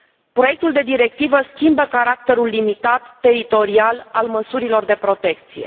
Proiectul de directivă schimbă caracterul limitat, teritorial al măsurilor de protecție.